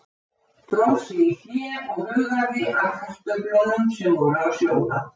Dró sig í hlé og hugaði að kartöflunum sem voru að sjóða.